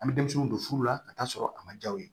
An bɛ denmisɛnninw don furu la ka taa sɔrɔ a ma jaw ye